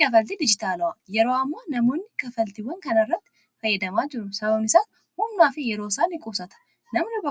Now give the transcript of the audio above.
Kaffaltii dijitaalaa yeroo ammaa namoonni kafaltiiwwan kana irratti fayyadamaa jiru. Jireenya ilma namaa